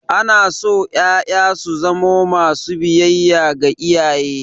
Ana so ƴaƴa su zamo masu biyayya ga iyaye.